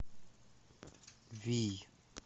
вий